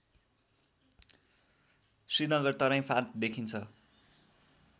श्रीनगर तराई फाँट देखिन्छ